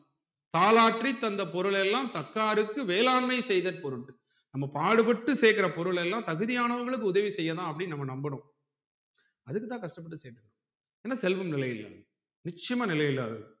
தாலாற்றி தந்த பொருள் எல்லாம் தக்காருக்கு வேளாண்மை செய்த பொருற் நம்ம பாடு பட்ட சேக்குற பொருள் எல்லாம் தகுதியானவங்களுக்கு உதவி செய்யதான் அப்டின்னு நாம நம்பனும் அதுக்குதான் கஷ்டப்பட்டு சேக்கணும் இன்னும் செல்வம் நிலையில்ல நிச்சியமா நிலையில்லாதது